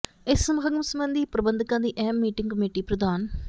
ਇਸ ਸਮਾਗਮ ਸਬੰਧੀ ਪ੍ਰਬੰਧਕਾਂ ਦੀ ਅਹਿਮ ਮੀਟਿੰਗ ਕਮੇਟੀ ਪ੍ਰਧਾਨ